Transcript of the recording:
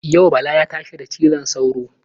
Yau Bala ya tashi da cizon sauro.